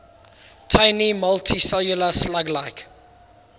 tiny multicellular slug like